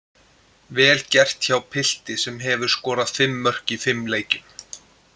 Vel gert hjá pilti sem hefur skorað fimm mörk í fimm leikjum.